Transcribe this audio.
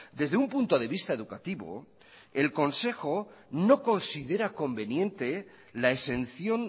desde un punto de vista educativo el consejo no considera conveniente la exención